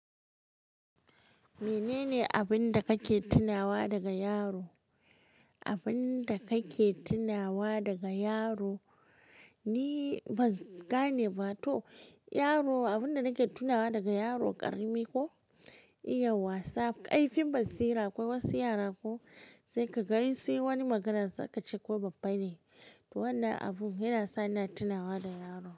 Menene abin da kake tunawa daga yaro? Abin da kake tunawa daga yaro, ni bani gane ba to yaro abin da nake tunawa daga yaro ƙarami ko iya wasa kaifin basira. Akwai wasu yara ko sai kaga insi wani magana zaka ce ko babba ne. To wannan abun yana sa ina tunawa da yaro.